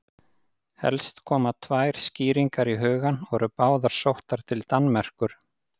Helst koma tvær skýringar í hugann og eru báðar sóttar til Danmerkur.